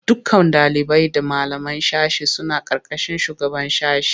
Dukkan ɗalibai da malaman sashe suna ƙarƙashin shugaban sashe.